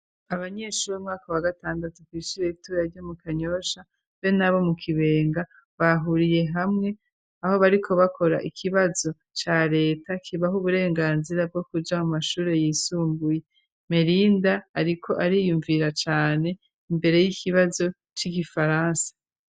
abanyeshuri bo mu mwaka wa gatandatu ku ishure ritoya ryo mu Kanyosha be nabo mu Kibenga, bahuriye hamwe aho bariko bakora ikibazo ca Leta kibaha uburenganzira bwo kuja mu mashuri yisumbuye, Melinda ariko ariyumvira cane imbere y'ikibazo c'igifaransa.